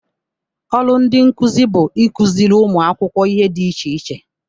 ọrụ ndị nkuzi bụ ịkụziri ụmụ akwụkwọ ihe dị iche iche.